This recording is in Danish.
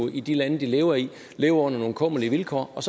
i de lande de lever i jo lever under nogle kummerlige vilkår og